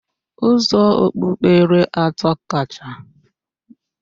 Ụzọ okpukpere atọ akacha nwee na Naịjiria bụ ndị otu Kraịst, ndị Alakụba na ndị Ọ̀gọ́ mmụọ